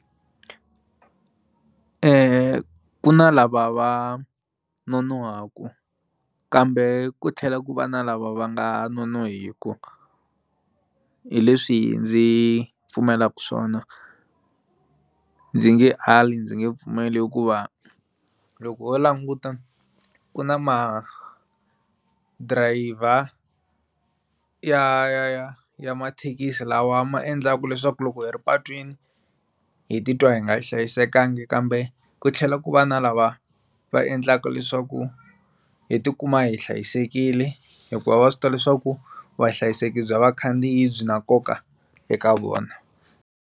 ku na lava va nonohaka kambe ku tlhela ku va na lava va nga nonohiku hi leswi ndzi pfumelaka swona ndzi nge ali ndzi nge pfumeli hikuva loko ho languta ku na ma driver ya ya ya ya mathekisi lawa ma endlaka leswaku loko hi ri patwini hi titwa hi nga hlayisekanga kambe ku tlhela ku va na lava va endlaka leswaku hi tikuma hi hlayisekile hikuva va swi tiva leswaku vahlayiseki bya vakhandziyi byi na nkoka eka vona.